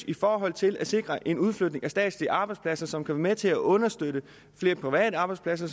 i forhold til at sikre en udflytning af statslige arbejdspladser som kan være med til at understøtte flere private arbejdspladser